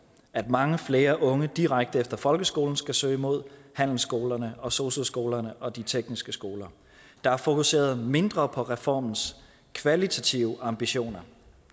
at mange flere unge direkte efter folkeskolen skal søge mod handelsskolerne og sosu skolerne og de tekniske skoler der er fokuseret mindre på reformens kvalitative ambitioner